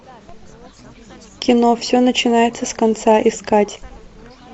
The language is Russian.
кино все начинается с конца искать